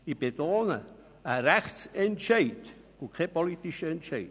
Ich betone: einen Rechtsentscheid und keinen politischen Entscheid.